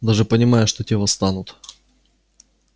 даже понимая что те восстанут